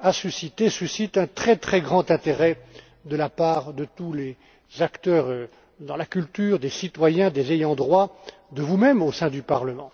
a suscité et suscite un très très grand intérêt de la part de tous les acteurs dans la culture des citoyens des ayants droit, de vous mêmes au sein du Parlement.